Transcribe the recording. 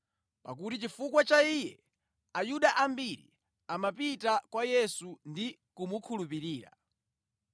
pakuti chifukwa cha iye Ayuda ambiri amapita kwa Yesu ndi kumukhulupirira.